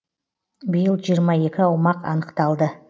биыл жиырма екі аумақ анықталды